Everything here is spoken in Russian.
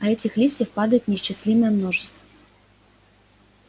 а этих листьев падает неисчислимое множество